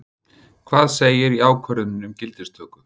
Hvað segir í ákvörðuninni um gildistöku?